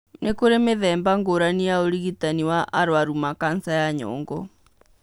Nĩ kũrĩ mĩthemba ngũrani ya ũrigitani wa arũaru ma kanca ya nyongo.